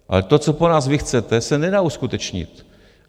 Ale to, co po nás vy chcete, se nedá uskutečnit.